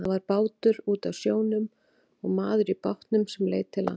Það var bátur úti á sjónum og maður í bátnum sem leit til lands.